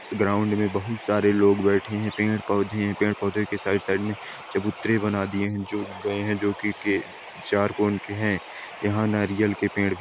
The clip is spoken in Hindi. ग्राउंड मे बहुत सारे लोग बैठे है पेड़ पौधे है पेड़ पौधे के साइड साइड मे चबूतरे बना दिए है जो उग गए है जो की के चार कोण के है यहाँ नारियल के पेड़ --